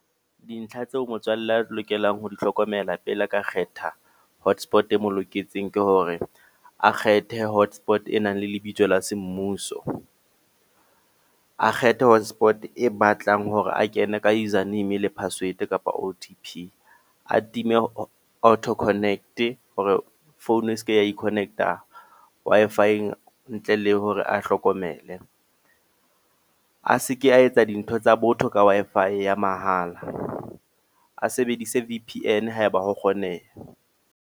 Dintlha tseo motswalle a lokelang ho di hlokomela, pele a ka kgetha hotspot e mo loketseng. Ke hore a kgethe hotspot e nang le lebitso la se mmuso. A kgethe hotspot e batlang hore a kene ka username le password, kapa O_T_P. A time auto connect hore founu e seke ya i-connect a Wi-Fi ntle le hore a hlokomele. A seke a etsa dintho tsa botho ka Wi-Fi ya mahala. A sebedisa V_P_N haeba ho kgoneha.